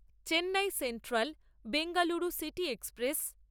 Chennai central Bengaluru city express